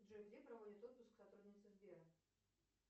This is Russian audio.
джой где проводят отпуск сотрудницы сбера